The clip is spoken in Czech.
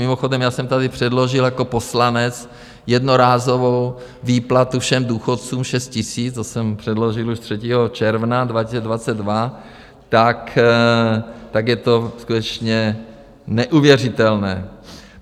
Mimochodem, já jsem tady předložil jako poslanec jednorázovou výplatu všem důchodcům 6 000, to jsem předložil už 3. června 2022, tak je to skutečně neuvěřitelné.